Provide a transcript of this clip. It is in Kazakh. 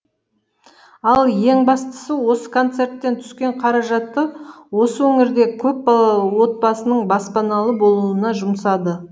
ал ең бастысы осы концерттен түскен қаражатты осы өңірдегі көпбалалы отбасының баспаналы болуына жұмсады